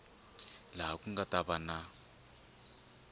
laha ku nga ta va